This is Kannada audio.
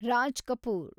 ರಾಜ್ ಕಪೂರ್